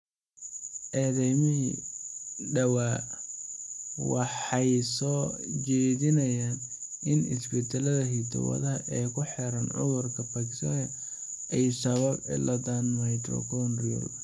Cadeymihii dhawaa waxay soo jeedinayaan in isbeddellada hiddo-wadaha ee ku xiran cudurka Parkinson ay sababaan cilladda mitochondrial.